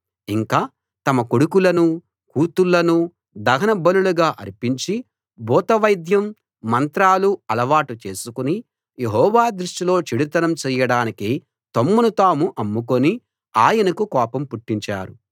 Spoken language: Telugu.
ఇంకా తమ కొడుకులనూ కూతుళ్ళనూ దహన బలులుగా అర్పించి భూతవైద్యం మంత్రాలు అలవాటు చేసుకుని యెహోవా దృష్టిలో చెడుతనం చెయ్యడానికి తమ్మును తాము అమ్ముకుని ఆయనకు కోపం పుట్టించారు